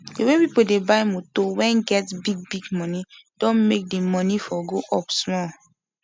dey way pipu dey buy moto wen get big big moni don make dey moni for go up smoll